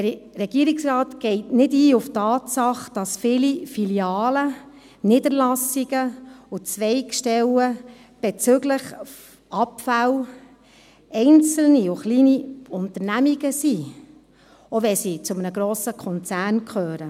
Der Regierungsrat geht nicht auf die Tatsache ein, dass viele Filialen, Niederlassungen und Zweigstellen bezüglich Abfälle einzelne und kleine Unternehmungen sind, auch wenn sie zu einem grossen Konzern gehören.